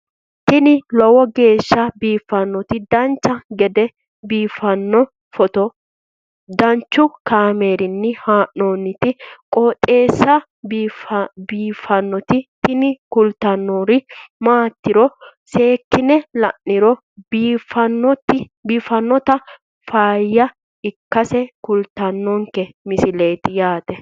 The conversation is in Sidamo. tini lowo geeshsha biiffannoti dancha gede biiffanno footo danchu kaameerinni haa'noonniti qooxeessa biiffannoti tini kultannori maatiro seekkine la'niro biiffannota faayya ikkase kultannoke misileeti yaate